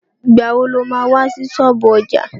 Ìgbà wo lo má wá sí ṣọ́ọ̀bú ọjà?